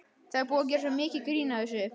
Það er búið að gera svo mikið grín að þessu.